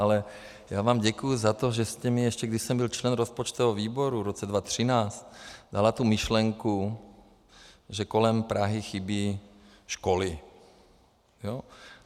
Ale já vám děkuji za to, že jste mi, ještě když jsem byl člen rozpočtového výboru v roce 2013, dala tu myšlenku, že kolem Prahy chybí školy.